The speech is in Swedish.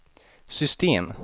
system